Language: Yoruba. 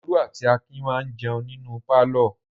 Olú àti Akin máa jẹun nínú pálọ̀.